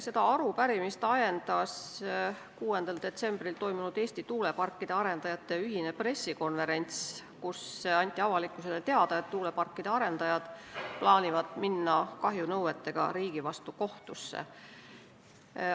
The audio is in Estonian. Seda arupärimist ajendas esitama 6. detsembril toimunud Eesti tuuleparkide arendajate ühine pressikonverents, kus anti avalikkusele teada, et tuuleparkide arendajad plaanivad minna kahjunõuetega riigi vastu kohtusse.